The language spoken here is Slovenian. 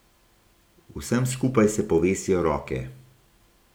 Vsem skupaj se povesijo roke.